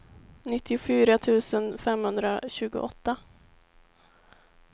nittiofyra tusen femhundratjugoåtta